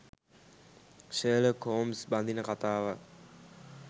Sherlock Holmes බඳින කතාවක්